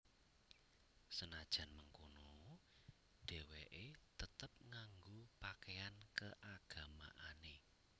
Senajan mengkono déwéké tetep nganggo pakaian keagamaané